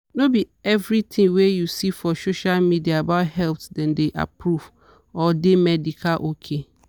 no be every thing wey you see for social media about health dem don approved or de medical ok.